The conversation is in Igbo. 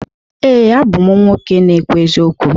Ee, abụ m nwoke na-ekwu eziokwu.